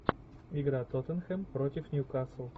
игра тоттенхэм против ньюкасл